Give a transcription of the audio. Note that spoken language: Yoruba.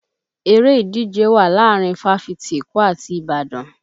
Eré ìdíje wà láàárín fáfítì Èkó àti Ìbàdàn